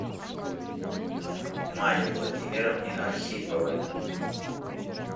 мае владимировне архиповой